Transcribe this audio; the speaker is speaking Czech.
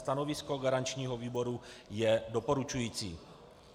Stanovisko garančního výboru je doporučující.